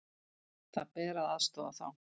Það ber að aðstoða þá.